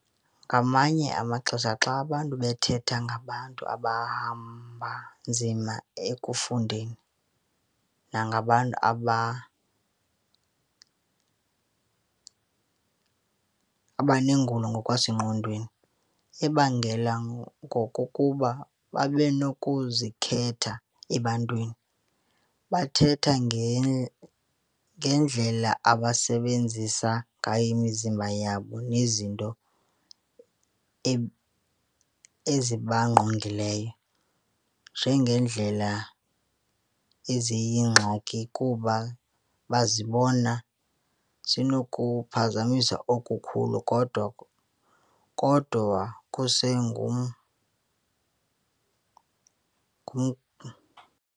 Ngamanye amaxesha xa abantu bethetha ngabantu abahamba nzima ekufundeni nangabantu abanengulo ngokwasengqondweni ebangela okokuba babenokuzikhetha ebantwini, bathetha ngendlela abasebenzisa ngayo imizimba yabo nezinto ezibangqongileyo njengeendlela eziyingxaki kuba bazibona zinokuphazamisa okukhulu, kodwa kodwa kusengum